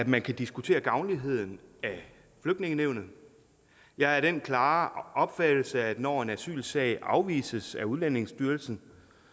man kan diskutere gavnligheden af flygtningenævnet jeg er af den klare opfattelse at når en asylsag afvises af udlændingestyrelsen